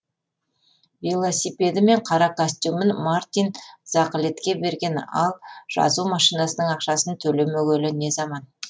велосипеді мен қара костюмін мартин закылетке берген ал жазу машинасының ақшасын төлемегелі не заман